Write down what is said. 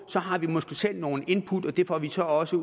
så har vi måske selv nogle input og dem får vi så også